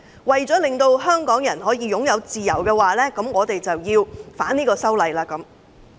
為了令香港人擁有自由，他們要反修例。